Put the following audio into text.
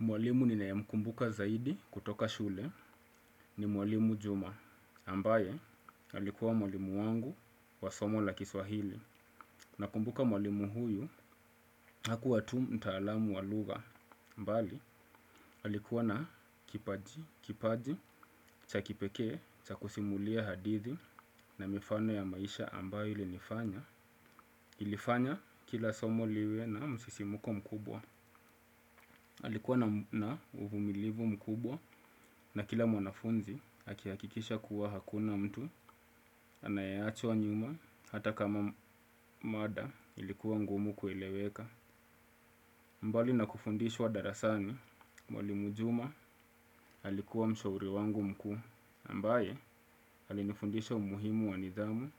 Mwalimu ninae mkumbuka zaidi kutoka shule ni mwalimu Juma ambaye alikuwa mwalimu wangu wa somo la kiswahili na kumbuka mwalimu huyu hakuwa tu mtaalamu wa lugha. Mbali alikuwa na kipaji, kipaji, cha kipekee, cha kusimulia hadithi na mifano ya maisha ambayo ili nifanya. Ilifanya kila somo liwe na msisimuko mkubwa alikuwa na uvumilivu mkubwa na kila mwanafunzi akihakikisha kuwa hakuna mtu anayeachwa nyuma hata kama mada ilikuwa ngumu kweleweka. Mbali na kufundishwa darasani, Mwalimu juma alikuwa mshauri wangu mkuu ambaye alinifundisha umuhimu wa nidhamu